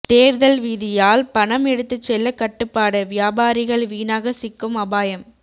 தேர்தல் விதியால் பணம் எடுத்துச்செல்ல கட்டுப்பாடு வியாபாரிகள் வீணாக சிக்கும் அபாயம்